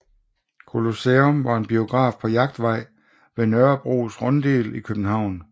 Colosseum var en biograf på Jagtvej ved Nørrebros Runddel i København